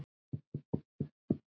Ég þakka afa fyrir bæði.